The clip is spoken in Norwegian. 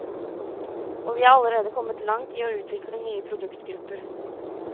Og vi er allerede kommet langt i å utvikle nye produktgrupper.